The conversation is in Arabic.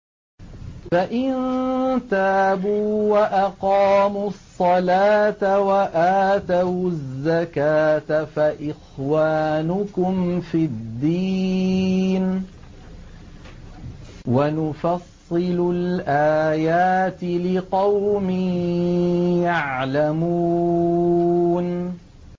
فَإِن تَابُوا وَأَقَامُوا الصَّلَاةَ وَآتَوُا الزَّكَاةَ فَإِخْوَانُكُمْ فِي الدِّينِ ۗ وَنُفَصِّلُ الْآيَاتِ لِقَوْمٍ يَعْلَمُونَ